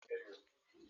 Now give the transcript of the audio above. Nneoma asachala panti ya?